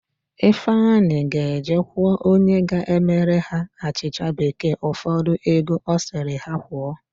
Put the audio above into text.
Ifeanyi ga-eje kwụọ onye ga-emere ha achịcha bekee ụfọdụ ego ọ sịrị ha kwụọ.